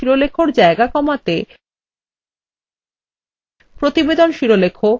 এরপর প্রতিবেদন শিরলেখএর জায়গা কমাতে